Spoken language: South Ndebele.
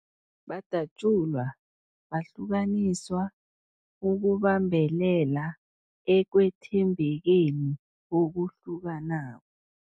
Badatjulwa, bahlukaniswa ukubambelela ekwethembekeni okuhlukanako.